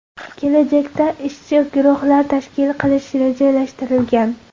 Kelajakda ishchi guruhlar tashkil qilish rejalashtirilgan.